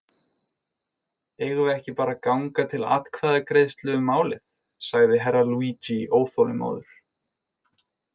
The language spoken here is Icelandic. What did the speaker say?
Eigum við ekki bara að ganga til atkvæðagreiðslu um málið, sagði Herra Luigi óþolinmóður.